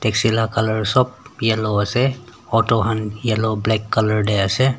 shila colour sop yellow ase auto han yellow black colour tae ase.